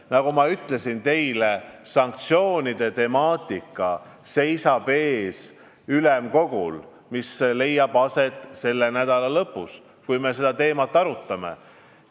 Nagu ma juba ütlesin, sanktsioonide temaatikat me Ülemkogu istungil, mis leiab aset selle nädala lõpus, arutame.